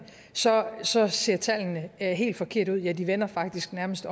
så så ser tallene helt forkerte ud ja de vender faktisk nærmest